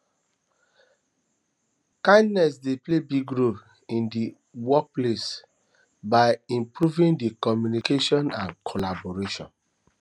kindness dey play big role in di workplace by improving di communication and collaboration